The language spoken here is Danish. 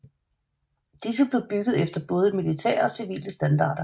Disse blev bygget efter både militære og civile standarder